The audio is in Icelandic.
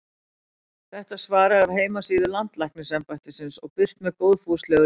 Þetta svar er af heimasíðu Landlæknisembættisins og birt með góðfúslegu leyfi.